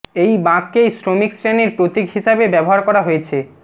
এই বাঁককেই শ্রমিক শ্রেণির প্রতীক হিসাবে ব্যবহার করা হয়েছে